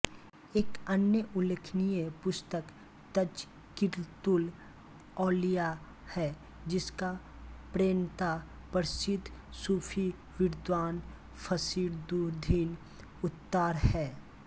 एक अन्य उल्लेखनीय पुस्तक तजकिरतुल औलिया है जिसका प्रणेता प्रसिद्ध सूफी विद्वान् फरीदुद्दीन अत्तार है